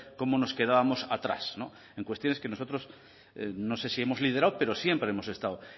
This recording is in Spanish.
cómo nos quedábamos atrás en cuestiones que nosotros no sé si hemos liderado pero siempre hemos estado